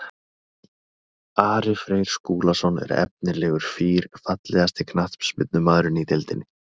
Ari Freyr Skúlason er efnilegur fýr Fallegasti knattspyrnumaðurinn í deildinni?